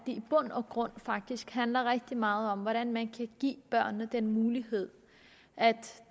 i bund og grund faktisk handler rigtig meget om hvordan man kan give børnene den mulighed at